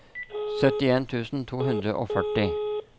syttien tusen to hundre og førti